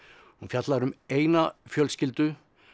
hún fjallar um eina fjölskyldu